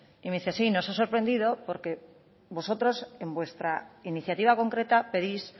y me dice sí nos ha sorprendido porque vosotros en vuestra iniciativa concreta pedís